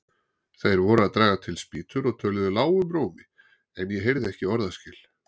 Þeir voru að draga til spýtur og töluðu lágum rómi, en ég heyrði ekki orðaskil.